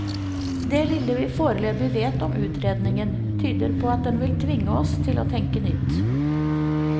Det lille vi foreløpig vet om utredningen, tyder på at den vil tvinge oss til å tenke nytt.